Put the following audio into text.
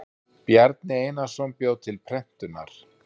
Bjarni Einarsson bjó til prentunar.